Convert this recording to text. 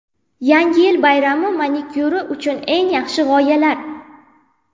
Yangi yil bayrami manikyuri uchun eng yaxshi g‘oyalar .